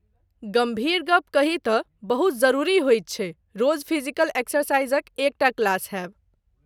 गंभीर गप्प कही त , बहुत जरुरी होइत छै रोज फिजिकल एक्सरसाइजक एक टा क्लास हेब।